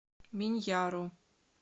миньяру